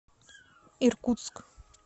иркутск